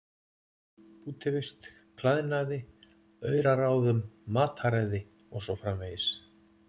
Útivist, klæðnaði, auraráðum, mataræði og svo framvegis.